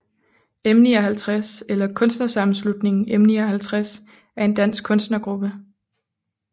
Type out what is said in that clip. M59 eller Kunstnersammenslutningen M59 er en dansk kunstnergruppe